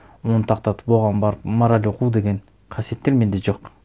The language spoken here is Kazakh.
оны тоқтатып оған барып мораль оқу деген қасиеттер менде жоқ